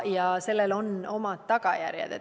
Ja sellel on omad tagajärjed.